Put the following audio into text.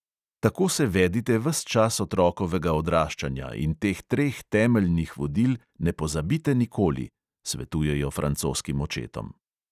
"Tako se vedite ves čas otrokovega odraščanja in teh treh temeljnih vodil ne pozabite nikoli," svetujejo francoskim očetom.